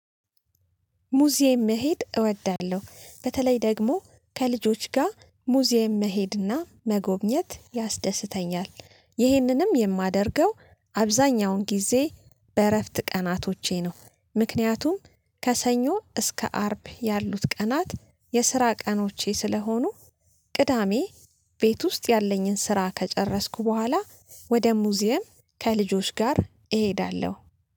ሙዚየም መሄድ እወዳለሁ በተለይ ደግሞ ከልጆች ጋር ሙዚየም መሄድና መጎብኘት ያስደስተኛል። ይህንንም የማደርገው አብዛኛውን ጊዜ በእረፍት ቀናቶቼ ነው። ምክንያቱም ከሰኞ እስከ አርብ ያሉት ቀናት የስራ ቀኖቼ ስለሆኑ ቅዳሜ ቤት ውስጥ ያለኝን ስራ ከጨረስኩ በኋላ ወደ ሙዚየም ከልጆች ጋር እሄዳለሁ